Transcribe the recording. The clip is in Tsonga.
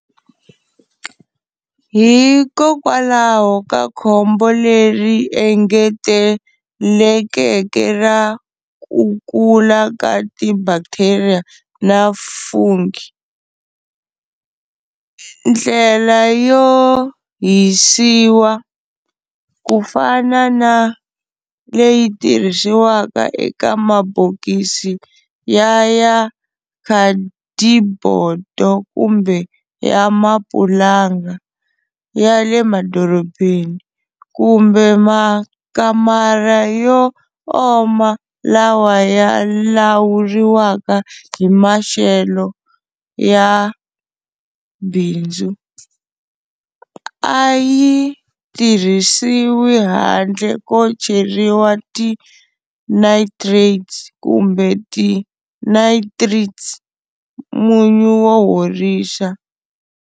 Hikokwalaho ka khombo leri engetelekeke ra kukula ka ti bacteria na fungi, ndlela yo hisiwa, kufana na leyi tirhisiwaka eka mabokisi ya ya khadibodo kumbe ya mapulanga, ya le madorobeni, kumbe makamara yo oma lawa ya lawuriwaka hi maxelo, ya bindzu, ayi tirhisiwi handle ko cheriwa ti nitrates kumbe ti nitrites, munyu wo horisa.